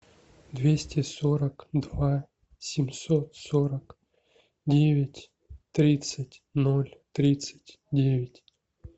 двести сорок два семьсот сорок девять тридцать ноль тридцать девять